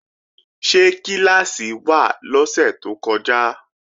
Ṣé kíláàsì wà lọ́sẹ̀ tó kọjá?